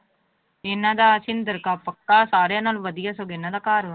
ਇਹਨਾਂ ਦਾ ਸਿੰਦਰ ਕਾ ਪੱਕਾ ਸਾਰਿਆਂ ਨਾਲੋਂ ਵਧੀਆ ਸਗੋਂ ਇਹਨਾਂ ਦਾ ਘਰ ਵਾ।